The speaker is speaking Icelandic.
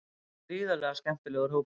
Þetta er gríðarlega skemmtilegur hópur.